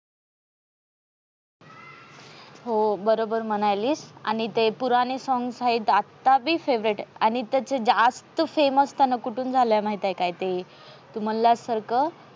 हो बरोबर म्हणायली आणि ते पुराने songs हायत. आता बी favorite आहे. आणि त्याचे ज्यास्त famous त्यांना कुठून झाला माहिती आहे का ते तू म्हणल्या सारख